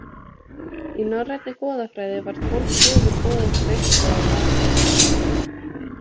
Í norrænni goðafræði var tólf guðum boðið til veislu í Valhöll.